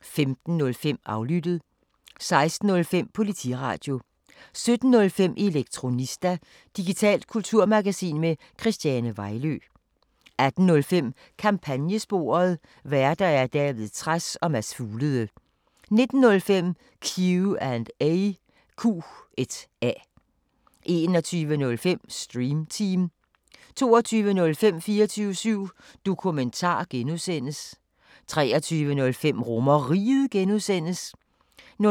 15:05: Aflyttet 16:05: Politiradio 17:05: Elektronista – digitalt kulturmagasin med Christiane Vejlø 18:05: Kampagnesporet: Værter: David Trads og Mads Fuglede 19:05: Q&A 21:05: Stream Team 22:05: 24syv Dokumentar (G) 23:05: RomerRiget (G) 00:00: